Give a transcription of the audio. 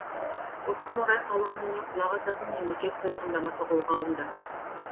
осыған орай халық үніне құлақ асатын мемлекет тұжырымдамасы қолға алынды